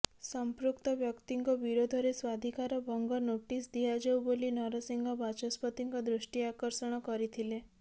ସମ୍ପୃକ୍ତ ବ୍ୟକ୍ତିଙ୍କ ବିରୋଧରେ ସ୍ବାଧିକାର ଭଙ୍ଗ ନୋଟିସ ଦିଆଯାଉବୋଲି ନରସିଂହ ବାଚସ୍ପତିଙ୍କ ଦୃଷ୍ଟି ଆକର୍ଷଣ କରିଥିଲୋ